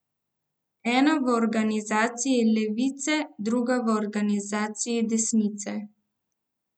Ena v organizaciji levice, druga v organizaciji desnice.